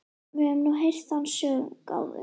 Við höfum nú heyrt þann söng áður.